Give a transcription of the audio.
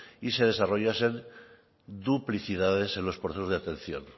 y se desarrollasen duplicidades en los procesos de atención